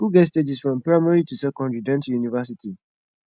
school get stages from primary to secondary then to university